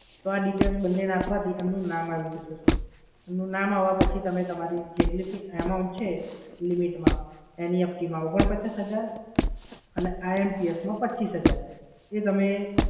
તો આ details નાંખવાથી એમનું નામ આવી જશે સર. એમનું નામ આવ્યા પછી જેટલી જે amount છે limitમા NEFT માં ઓગણપચાસ હજાર અને IMPS માં પચ્ચીસ હજાર એ તમે